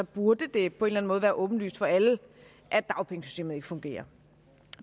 burde det på en måde være åbenlyst for alle at dagpengesystemet ikke fungerer